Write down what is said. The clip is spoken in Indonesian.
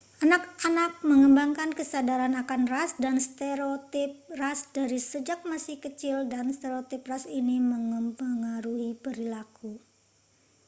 anak-anak mengembangkan kesadaran akan ras dan stereotip ras dari sejak masih kecil dan stereotip ras ini memengaruhi perilaku